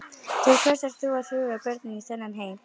Til hvers ert þú að hrúga börnum í þennan heim?